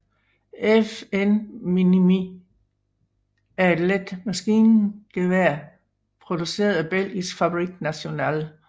FN Minimi er et let maskingevær produceret af Belgiske Fabrique Nationale